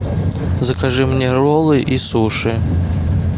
закажи мне роллы и суши